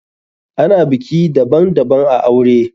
Ana biki daban daban a aure.